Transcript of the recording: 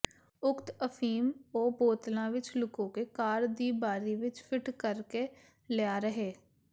ਉਕਤ ਅਫੀਮ ਉਹ ਬੋਤਲਾਂ ਵਿੱਚ ਲੁਕੋ ਕੇ ਕਾਰ ਦੀ ਬਾਰੀ ਵਿੱਚ ਫਿੱਟ ਕਰਕੇ ਲਿਆ ਰਹੇ